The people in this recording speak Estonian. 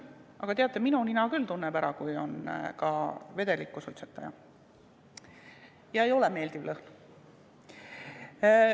Aga teate, minu nina tunneb ära, kui on ka vedeliku suitsetaja, ja see ei ole meeldiv lõhn.